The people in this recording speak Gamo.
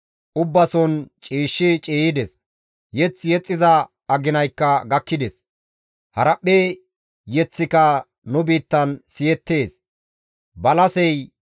Ubbason ciishshi ciiyides; mazamure yexxiza aginaykka gakkides; haraphphe yeththika nu biittan siyettees.